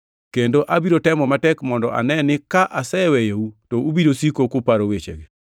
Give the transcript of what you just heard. Kendo abiro temo matek mondo ane ni ka aseweyou to ubiro siko kuparo wechegi.